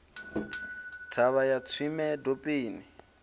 thavha ya tswime dopeni a